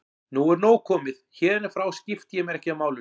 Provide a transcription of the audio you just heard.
Nú er nóg komið, héðan í frá skipti ég mér ekki af málinu.